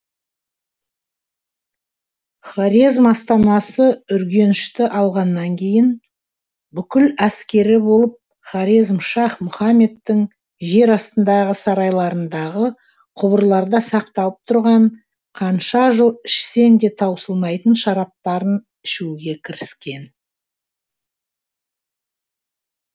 хорезм астанасы үргенішті алғаннан кейін бүкіл әскері болып хорезмшах мұхаммедтің жер астындағы сарайларындағы құбырларда сақталып тұрған қанша жыл ішсең де таусылмайтын шараптарын ішуге кіріскен